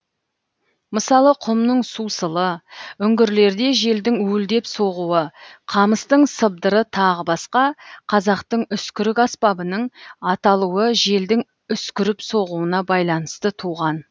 мысалы құмның сусылы үңгірлерде желдің уілдеп соғуы қамыстың сыбдыры тағы басқа қазақтың үскірік аспабының аталуы желдің үскіріп соғуына байланысты туған